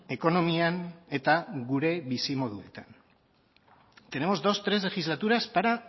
ekonomian eta gure bizimoduetan tenemos dos o tres legislaturas para